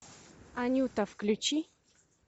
анюта включи